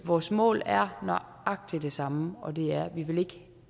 vores mål er nøjagtig det samme og det er at vi